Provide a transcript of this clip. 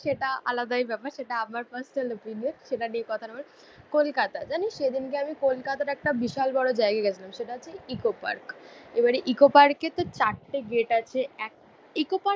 সেটা আলাদাই ব্যাপার সেটা আমার পার্সোনাল ওপিনিয়ন, সেটা নিয়ে কথা না বলে কলকাতা। জানিস সেদিনকে আমি কলকাতার একটা বিশাল বড়ো জায়গায় গেছিলাম সেটা হচ্ছে ইকো পার্ক। এবারে ইকো পার্কে তো চারটে গেট আছে, এক